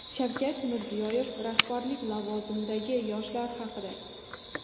Shavkat Mirziyoyev rahbarlik lavozimidagi yoshlar haqida.